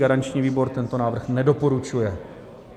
Garanční výbor tento návrh nedoporučuje.